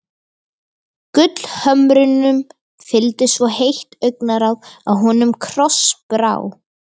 Gullhömrunum fylgdi svo heitt augnaráð að honum krossbrá.